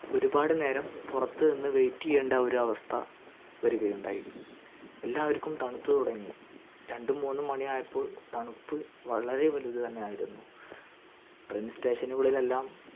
ഒരുപ്പാട് നേരം പുറത്തു നിന്ന് wait യേണ്ട ഒരു അവസ്ഥ വരികയുണ്ടായി എല്ലാവർക്കും തണുത് തുടങ്ങി രണ്ടു മൂന്ന് മണിയായപ്പോൾ തണുപ്പ് വളരെ വലുത് തന്നെയായിരുന്നു train station നുകളിലെല്ലാം